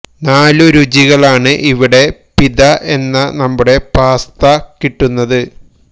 നാലു രുചികളാണ് ഇവിടെ പിത എന്ന നമ്മുടെ പാസ്ത കിട്ടുന്നത്